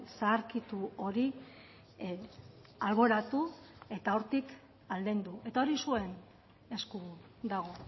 zaharkitu hori alboratu eta hortik aldendu eta hori zuen esku dago